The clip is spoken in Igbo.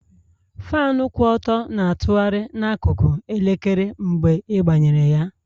Faanụ kwụ ọtọ na-atụgharị n'akụkụ elekere mgbe ịgbanyere ya